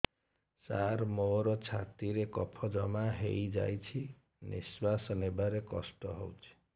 ସାର ମୋର ଛାତି ରେ କଫ ଜମା ହେଇଯାଇଛି ନିଶ୍ୱାସ ନେବାରେ କଷ୍ଟ ହଉଛି